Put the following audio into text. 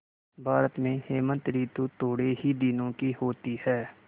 भारत में हेमंत ॠतु थोड़े ही दिनों की होती है